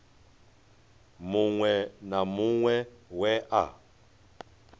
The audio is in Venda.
muṅwe na muṅwe we a